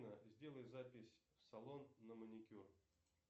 сделай запись в салон на маникюр